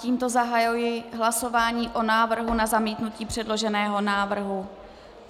Tímto zahajuji hlasování o návrhu na zamítnutí předloženého návrhu.